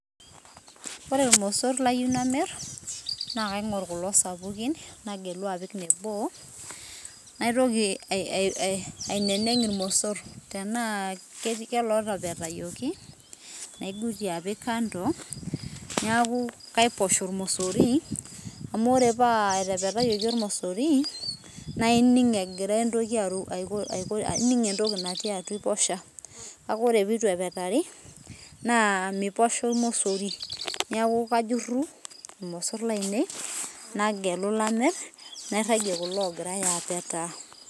Ore ilmosorr layieu namirr naa kaing`or kulo sapukini nagelu apik nebo. Naitoki aineneng ilmosor tenaa koloo tepetayioki naing`utie apik kando niaku kaiposh olmosori amu ore paa etepetayioki olmosori naa ining egira entoki, ining entoki natii atua iposha. Kake ore pee eitu epetari naa miposha olmosori niaku kajurru ilmosorr lainei nagelu lamirr nairajie kulo oogirai apetaa.